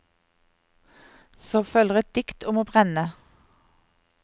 Så følger et dikt om å brenne.